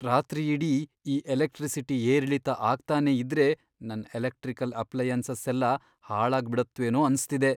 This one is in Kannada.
ರಾತ್ರಿಯಿಡೀ ಈ ಎಲೆಕ್ಟ್ರಿಸಿಟಿ ಏರಿಳಿತ ಆಗ್ತಾನೇ ಇದ್ರೆ ನನ್ ಎಲೆಕ್ಟ್ರಿಕಲ್ ಅಪ್ಲೈಯನ್ಸಸ್ಸೆಲ್ಲ ಹಾಳಾಗ್ಬಿಡತ್ವೇನೋ ಅನ್ಸ್ತಿದೆ.